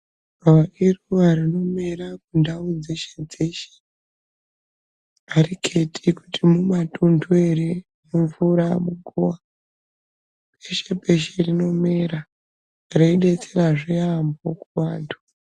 Gavakava iruva rinomera mundau dzeshe-dzeshe. Hariketi kuti mumatunhu ere mumvura muguva peshe-peshe rinomera, reibetserazve yaambo kuvantu.